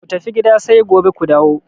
Ku tafi gida sai gobe ku dawo!